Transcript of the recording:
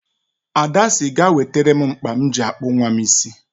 Ada sị ga ewetere m mkpa m ji akpụ nwam isi